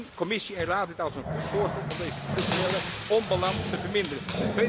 Zien Commissie en Raad dit als een goed voorstel om deze structurele onbalans te verminderen?